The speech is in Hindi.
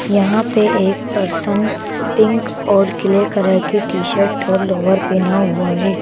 यहां पे एक पर्सन पिंक और किले कलर की टी-शर्ट और लोवर पहना हुआ है।